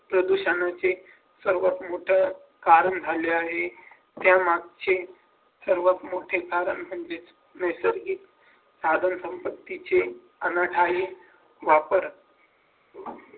शिक्षणाचे सर्वात मोठं कारण झाले आहे ज्या मागचे सर्वात मोठे कारण म्हणजे नैसर्गिक साधन संपत्तीचे आहे प्रॉपर